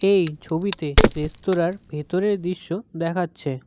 এই ছবিতে রেস্তোরার ভেতরের দৃশ্য দেখাচ্ছে।